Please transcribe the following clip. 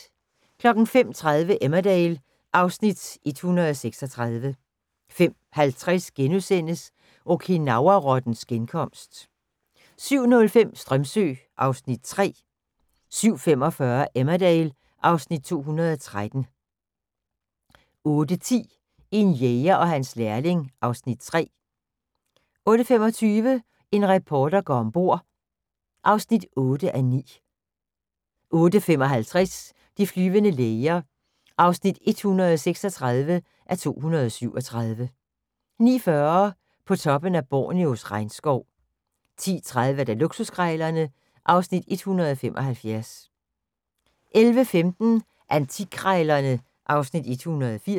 05:30: Emmerdale (Afs. 136) 05:50: Okinawa-rottens genkomst * 07:05: Strömsö (Afs. 3) 07:45: Emmerdale (Afs. 213) 08:10: En jæger og hans lærling (Afs. 3) 08:25: En reporter går om bord (8:9) 08:55: De flyvende læger (136:237) 09:40: På toppen af Borneos regnskov 10:30: Luksuskrejlerne (Afs. 175) 11:15: Antikkrejlerne (Afs. 180)